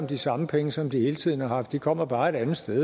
de samme penge som de hele tiden har haft de kommer bare et andet sted